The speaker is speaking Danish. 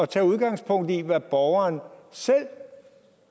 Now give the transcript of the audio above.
tage udgangspunkt i hvad borgeren selv